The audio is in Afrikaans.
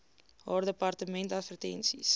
haar departement advertensies